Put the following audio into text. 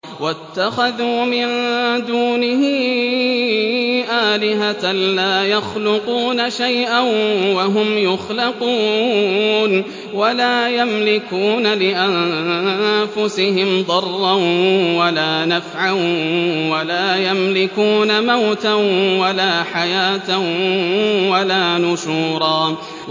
وَاتَّخَذُوا مِن دُونِهِ آلِهَةً لَّا يَخْلُقُونَ شَيْئًا وَهُمْ يُخْلَقُونَ وَلَا يَمْلِكُونَ لِأَنفُسِهِمْ ضَرًّا وَلَا نَفْعًا وَلَا يَمْلِكُونَ مَوْتًا وَلَا حَيَاةً وَلَا نُشُورًا